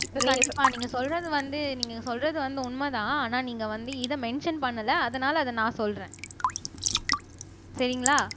கண்டிப்பா நீங்க சொல்றது வந்து நீங்க சொல்றது வந்து உண்மைதான் ஆனா நீங்க வந்து இத மென்ஷன் பண்ணல அதனால அத நான் சொல்றேன் சரிங்களா